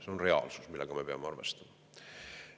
See on reaalsus, millega me peame arvestama.